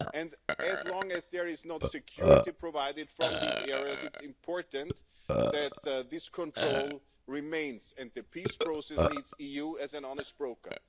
And as long as there is not security provided from these areas, it is important that this control remains and the peace process needs the EU as an honest broker.